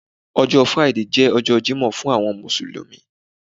ọjọ Friday je ọjọ jimoh fún àwọn mùsùlùmí